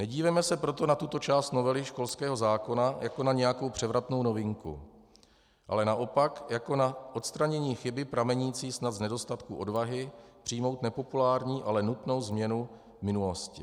Nedívejme se proto na tuto část novely školského zákona jako na nějakou převratnou novinku, ale naopak jako na odstranění chyby pramenící snad z nedostatku odvahy přijmout nepopulární, ale nutnou změnu minulosti.